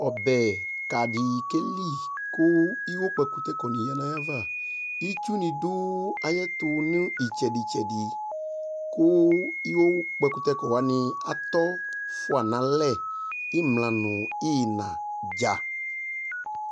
Ɔbɛka di keli kuiwokpɛkutɛkɔni aya nayava ɩtsuni adu ayu itsɛdi tsɛdi Ku iwokpɛkutɛkɔ wani atɔya imla nu iyina